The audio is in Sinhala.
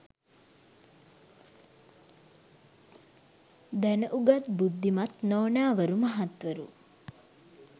දැන උගත් බුද්ධිමත් නෝනවරු මහත්වරු